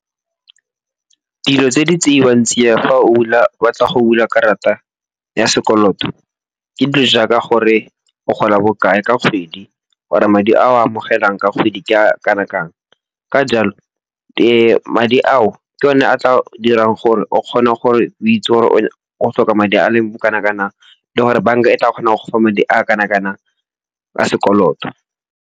Dilo tse di tseiwang tsia fa ba tla go dula karata ya sekoloto ke dilo jaaka gore o gola bokae ka kgwedi, gore madi a o a amogelang ka kgwedi ke a kanang kang. Ka jalo, madi ao ke o ne a tla dirang gore o kgona gore o itse gore o tlhoka madi a leng bo kanang-kanang le gore banka e tla kgons go fa madi a kanang-kanang a sekoloto.